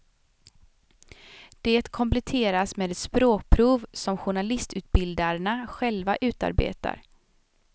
Det kompletteras med ett språkprov som journalistutbildarna själva utarbetar.